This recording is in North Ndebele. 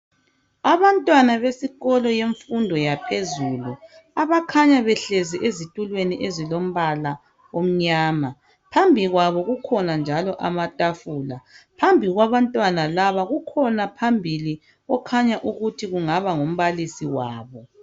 Abantwana besikolo yemfundo yaphezulu abakhanya behlezi ezitulweni ezilombala omnyama. Phambi kwabo kukhona njalo amatafula. Phambi kwabantwana laba kukhona phambili okhanya ukuthi kungaba ngumbalisi wabo.